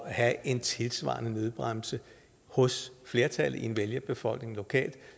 at have en tilsvarende nødbremse hos flertallet i en vælgerbefolkning lokalt